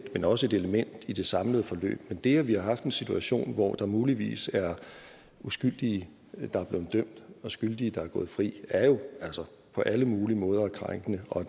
men også et element i det samlede forløb men det at vi har haft en situation hvor der muligvis er uskyldige der er blevet dømt og skyldige der er gået fri er jo altså på alle mulige måder krænkende og